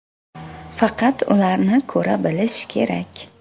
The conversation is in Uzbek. Faqat ularni ko‘ra bilish kerak.